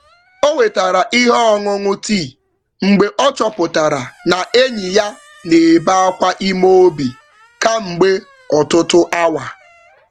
Owetara ihe ọṅụṅụ tìì mgbe ọchọpụtara na enyi ya n'ebe Akwa ime obi kamgbe ọtụtụ awa